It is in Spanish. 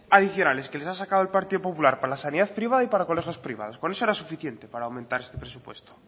adicionales que les ha sacado al partido popular para la sanidad privada y para colegios privados con eso era suficiente para aumentar este presupuesto